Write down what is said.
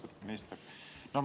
Austatud minister!